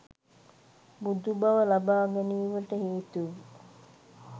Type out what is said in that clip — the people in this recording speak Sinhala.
බුදුබව ලබාගැනීමට හේතු වූ